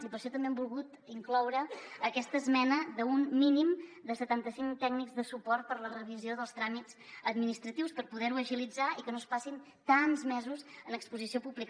i per això també hem volgut incloure aquesta esmena d’un mínim de setanta cinc tècnics de suport per a la revisió dels tràmits administratius per poder ho agilitzar i que no es passin tants mesos en exposició pública